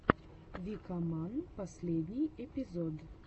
викаман последний эпизод